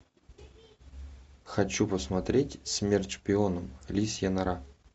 хочу посмотреть смерть шпионам лисья нора